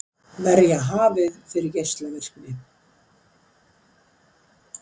Verja hafið fyrir geislavirkni